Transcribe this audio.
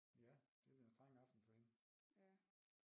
Ja det bliver en streng aften for hende